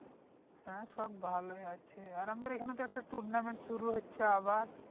হ্যাঁ সব ভালোই আছে আর আমাদের এখানে তো একটা tournament শুরু হচ্ছে আবার